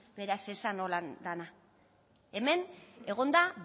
beraz ez esan holan dana hemen egon da